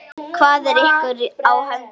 Hvað er ykkur á höndum?